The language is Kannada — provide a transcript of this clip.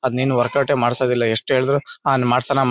ಅದ್ನೇನ್ ವರ್ಕೌಟ್ ಯೇ ಮಾಡಿಸೋದಿಲ್ಲಾ ಎಷ್ಟ್ ಹೇಳಿದ್ರು ಅವ್ನ್ ಮಾಡ್ಸಲ್ಲಾ.